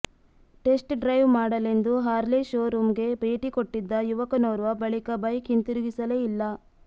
test drive ಮಾಡಲೆಂದು Harley show ರೂಂಗೆ ಭೇಟಿ ಕೊಟ್ಟಿದ್ದ ಯುವಕನೋರ್ವ ಬಳಿಕ ಬೈಕ್ ಹಿಂತಿರುಗಿಸಲೇ ಇಲ್ಲ